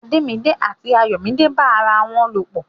Ademide àti Ayomide n bá ará wọn lo pọ.